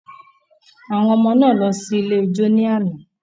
Àwọn ọmọ náà lọ sí ilé ijó ní àná.